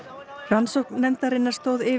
rannsókn nefndarinnar stóð yfir